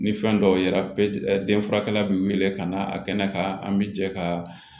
Ni fɛn dɔw yera den furakɛla bi wili ka na a kɛnɛ kan an bi jɛ ka